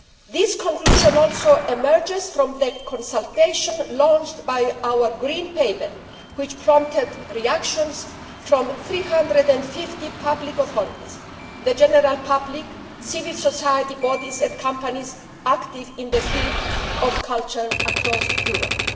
This conclusion also emerges from the consultation launched by our Green Paper, which prompted reactions from 350 public authorities, the general public, civil society bodies and companies active in the field of culture across Europe.